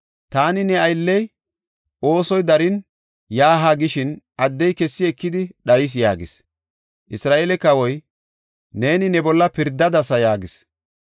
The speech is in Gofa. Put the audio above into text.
Taani ne aylley oosoy darin, yaa haa gishin, addey kessi ekidi dhayis” yaagis. Isra7eele kawoy, “Neeni ne bolla pirdadasa” yaagis.